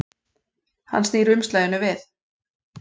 Hann snýr umslaginu við.